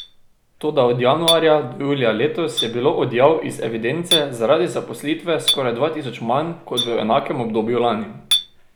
Toda od januarja do julija letos je bilo odjav iz evidence zaradi zaposlitve skoraj dva tisoč manj kot v enakem obdobju lani.